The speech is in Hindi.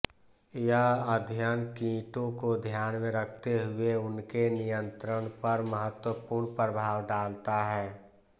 यह अध्ययन कीटों को ध्यान में रखते हुए उनके नियंत्रण पर महत्वपूर्ण प्रभाव डालता हैं